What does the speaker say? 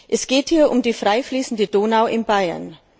Es geht hier um die frei fließende Donau in Bayern.